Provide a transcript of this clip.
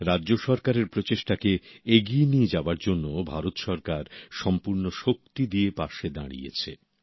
রাজ্য সরকারের প্রচেষ্টাকে এগিয়ে নিয়ে যাবার জন্য ভারত সরকার সম্পূর্ণ শক্তি দিয়ে পাশে দাঁড়িয়েছে